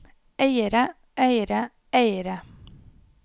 eiere eiere eiere